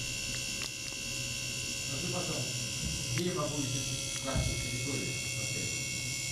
скажи пожалуйста где я могу изучить карту территории в отеле